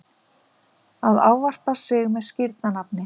að ávarpa sig með skírnarnafni.